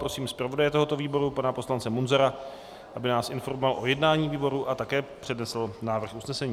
Prosím zpravodaje tohoto výboru pana poslance Munzara, aby nás informoval o jednání výboru a také přednesl návrh usnesení.